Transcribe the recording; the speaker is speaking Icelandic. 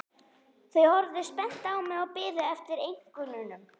Þau horfðu spennt á mig og biðu eftir einkennunum.